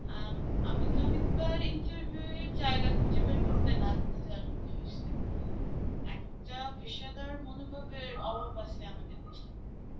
আম~ আমাকে অনেকবার interview এর জায়গা খুঁজে বের করতে নাজেহাল হতে হয়েসে. একটা পেশাদার মনোভাবের অভাব আছে আমাদের দেশে.